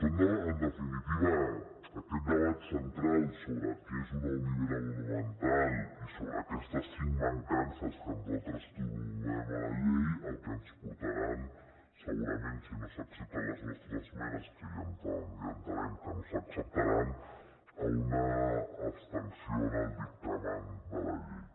és en definitiva aquest debat central sobre què és una olivera monumental i sobre aquestes cinc mancances que nosaltres trobem a la llei el que ens portarà segurament si no s’accepten les nostres esmenes que ja entenem que no s’acceptaran a una abstenció en el dictamen de la llei